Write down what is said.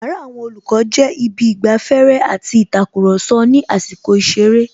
Yàrá àwon Olòkó jé Ibi īgbaféré àti ītakùròso ní àsīkò īseré